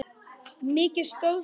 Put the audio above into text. Mikið stóð til.